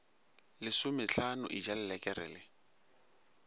lesomehlano e ja lelekere le